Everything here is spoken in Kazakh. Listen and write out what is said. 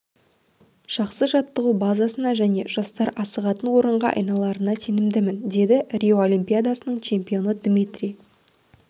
жақсы жаттығу базасына және жастар асығатын орынға айналарына сенемін деді рио олимпиадасының чемпионы дмитрий